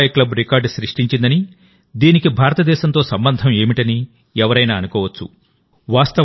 Dubai club record సృష్టించిందని దీనికి భారతదేశంతో సంబంధం ఏమిటని ఎవరైనా అనుకోవచ్చు